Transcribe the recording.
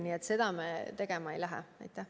Nii et seda me tegema ei hakka.